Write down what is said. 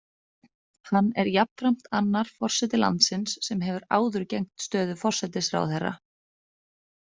Hann er jafnframt annar forseti landsins sem hefur áður gegnt stöðu forsætisráðherra.